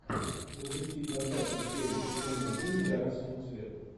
запусти двадцатую серию сезона один гора самоцветов